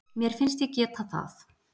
Mér finnst ég geta það